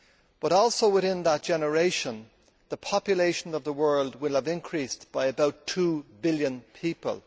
But also within that generation, the population of the world will have increased by about two billion people.